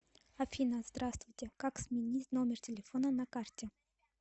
афина здравствуйте как сменить номер телефона на карте